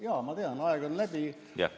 Jaa, ma tean, et aeg on läbi.